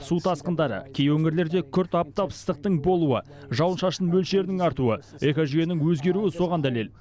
су тасқындары кей өңірлерде күрт аптап ыстықтың болуы жауын шашын мөлшерінің артуы экожүйенің өзгеруі соған дәлел